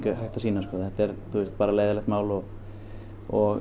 hægt að sýna sko þetta er leiðinlegt mál og og